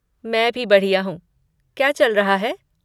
मैं भी बढ़िया हूँ। क्या चल रहा है?